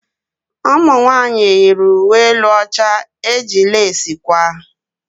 Ụmụnwanyị yiri uwe elu ọcha eji lesi kwaa.